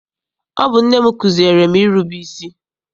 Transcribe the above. Ọ bụ nne m kụziere m irube isi.